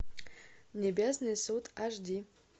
небесный суд аш ди